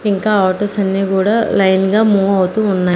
ఇంకా ఆటోస్ అన్నీ గూడా లైన్ గా మూవ్ అవుతూ ఉన్నా--